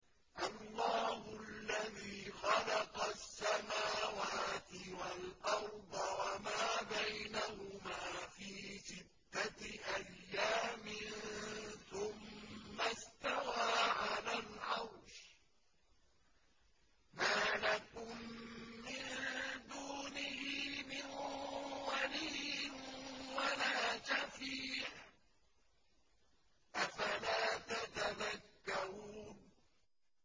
اللَّهُ الَّذِي خَلَقَ السَّمَاوَاتِ وَالْأَرْضَ وَمَا بَيْنَهُمَا فِي سِتَّةِ أَيَّامٍ ثُمَّ اسْتَوَىٰ عَلَى الْعَرْشِ ۖ مَا لَكُم مِّن دُونِهِ مِن وَلِيٍّ وَلَا شَفِيعٍ ۚ أَفَلَا تَتَذَكَّرُونَ